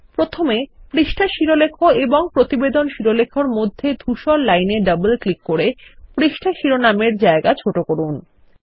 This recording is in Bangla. প্রথমে পৃষ্ঠাশিরোলেখ এবং প্রতিবেদন শিরোলেখ এর মধ্যে ধূসর লাইন এ ডবল ক্লিক করে পৃষ্ঠা শিরোনাম এরজায়গা ছোট করুন